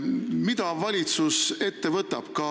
Mida valitsus ette võtab?